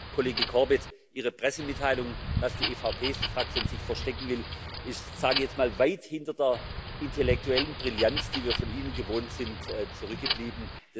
Herr Kollege Corbett, Ihre Pressemitteilung, dass die EVP Fraktion sich verstecken will, ist sage ich jetzt mal weit hinter der intellektuellen Brillanz, die wir von Ihnen gewohnt sind, zurückgeblieben.